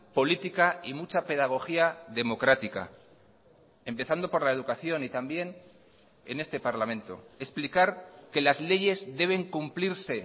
política y mucha pedagogía democrática empezando por la educación y también en este parlamento explicar que las leyes deben cumplirse